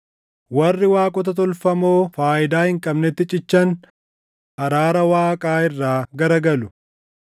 “Warri waaqota tolfamoo faayidaa hin qabnetti cichan araara Waaqaa irraa garagalu.